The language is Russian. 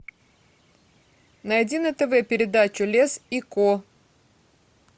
найди на тв передачу лес и ко